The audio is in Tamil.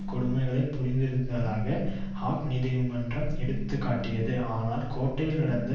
கொடுமைகளை புரிந்திருந்ததாக ஹாக் நீதிமன்றம் எடுத்து காட்டியது ஆனால் கோட்டையில் நடந்த